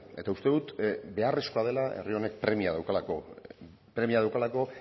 eta uste dut beharrezkoa dela herri honek premia daukalako premia daukalako